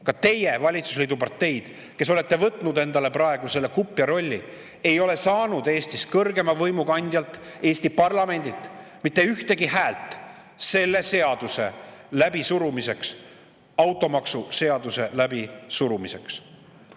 Ka teie, valitsusliidu parteid, kes te olete võtnud endale praegu selle kupja rolli, ei ole saanud Eestis kõrgeima võimu kandjalt, Eesti parlamendilt mitte ühtegi häält selle seaduse läbisurumiseks, automaksuseaduse läbisurumiseks!